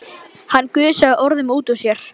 Hann gusaði orðunum út úr sér.